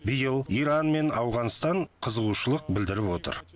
биыл иран мен ауғанстан қызығушылық білдіріп отыр